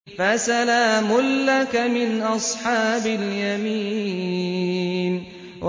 فَسَلَامٌ لَّكَ مِنْ أَصْحَابِ الْيَمِينِ